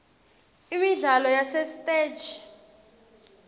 imidlalo yasesitegi